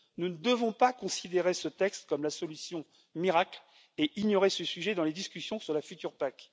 Nous ne devons pas considérer ce texte comme la solution miracle et ignorer ce sujet dans les discussions sur la future PAC.